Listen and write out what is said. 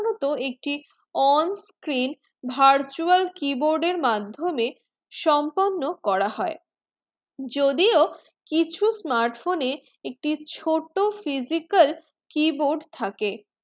তো একটি on screen virtual keyboard এর মাধমিয়ে সম্পন্ন করা হয়ে যদি ও কিছু smart phone এ একটি ছোট physical keyboard থাকে